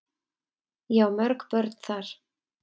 Ég á mörg börn þar.